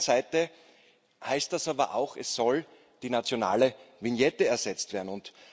Auf der anderen Seite heißt das aber auch, es soll die nationale Vignette ersetzt werden.